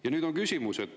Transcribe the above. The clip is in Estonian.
Ja nüüd on küsimus.